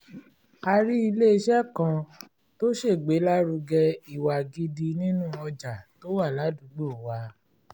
a rí ilé-iṣẹ́ kan tó ṣègbélárugẹ ìwà gidi nínú ọjà tó wà ládùúgbò wa